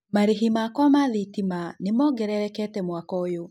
Marĩhi makwa ma thitima nĩ mongererekete mwaka ũyũ.